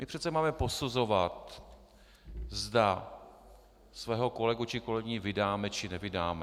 My přece máme posuzovat, zda svého kolegu či kolegyni vydáme, či nevydáme.